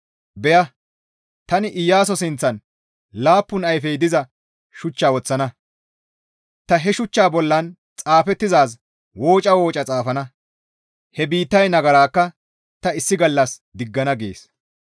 Beya! Tani Iyaaso sinththan laappun ayfey diza shuch woththana; ta he shuchchaa bollan xaafettizaaz wooca wooca xaafana; he biittay nagarakka ta issi gallas diggana» gees.